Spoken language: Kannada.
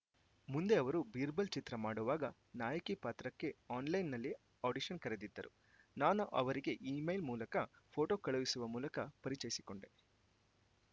ಮುಂದೆ ಅವರು ಬೀರ್‌ಬಲ್‌ ಚಿತ್ರ ಮಾಡುವಾಗ ನಾಯಕಿ ಪಾತ್ರಕ್ಕೆ ಆನ್‌ಲೈನ್‌ನಲ್ಲಿ ಆಡಿಷನ್‌ ಕರೆದಿದ್ದರು ನಾನು ಅವರಿಗೆ ಇಮೇಲ್‌ ಮೂಲಕ ಫೋಟೋ ಕಳುಹಿಸುವ ಮೂಲಕ ಪರಿಚಯಿಸಿಕೊಂಡೆ